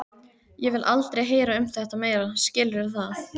Ég vil aldrei heyra um þetta meira, skilurðu það?